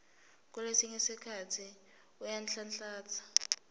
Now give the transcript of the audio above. kulesinye sikhatsi uyanhlanhlatsa